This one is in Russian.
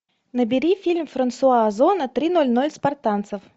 набери фильм франсуа озона три ноль ноль спартанцев